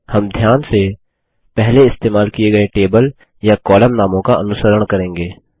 हम ध्यान से पहले इस्तेमाल किये गये टेबल या कॉलम नामों का अनुसरण करेंगे